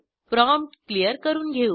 prompt clear करून घेऊ